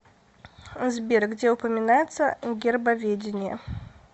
сбер где упоминается гербоведение